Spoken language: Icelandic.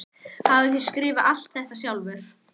Hafið þér skrifað alt þetta sjálfur?